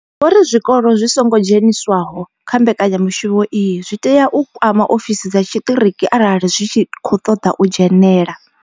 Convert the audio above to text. Vho ri, zwikolo zwi songo dzheniswaho kha mbekanya mushumo iyi zwi tea u kwama ofisi dza tshiṱiriki arali zwi tshi khou ṱoḓa u dzhenela.